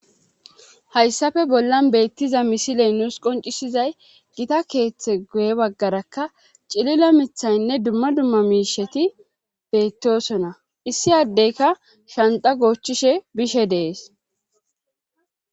haysape bollan beettiza misile nus qonccisizay gita keethe guye baggarakka cilila mithaynne dumma dumma miisheti beettoosona issi adeykka shanxxa goochishe bishe de7es.